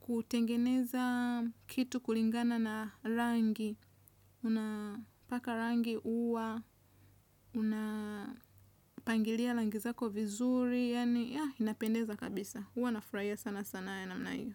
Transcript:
kutengeneza kitu kulingana na rangi. Una paka rangi uwa una pangilia rangi zako vizuri yani ya inapendeza kabisa huwa nafurahia sana sanaa ya namna hiyo.